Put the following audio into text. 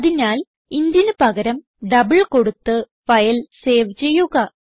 അതിനാൽ intന് പകരം ഡബിൾ കൊടുത്ത് ഫയൽ സേവ് ചെയ്യുക